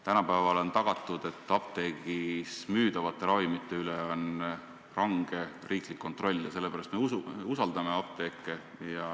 Tänapäeval on tagatud, et apteegis müüdavate ravimite üle on range riiklik kontroll ja sellepärast me usaldame apteeke.